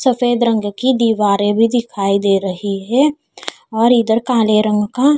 सफेद रंग की दीवारें भी दिखाई दे रही है और इधर काले रंग का--